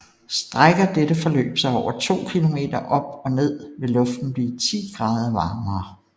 Strækker dette forløb sig over 2 km op og ned vil luften blive 10 grader varemere